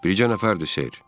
Bircə nəfərdir, Sir.